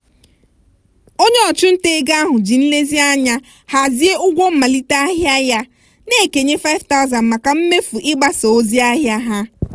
onye ọchụnta ego ahụ ji nlezianya hazie ụgwọ mmalite ahịa ya na-ekenye $5000 maka mmefu ịgbasa ozi ahịa ha